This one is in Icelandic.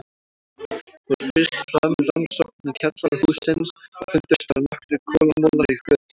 Fór fyrst fram rannsókn í kjallara hússins og fundust þar nokkrir kolamolar í fötu.